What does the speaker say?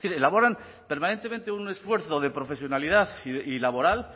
elaboran permanentemente un esfuerzo de profesionalidad y laboral